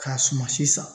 K'a suma si san